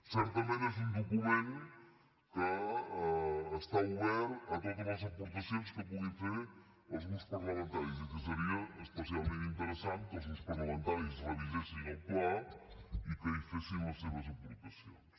certament és un document que està obert a totes les aportacions que puguin fer els grups parlamentaris i que seria especialment interessant que els grups parlamentaris revisessin el pla i que hi fessin les seves aportacions